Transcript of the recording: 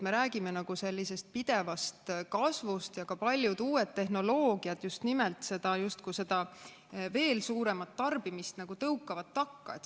Me räägime pidevast kasvust ja ka paljud uued tehnoloogiad tõukavad veel suuremat tarbimist takka.